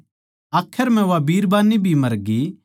आखर म्ह वा बिरबान्नी भी मरगी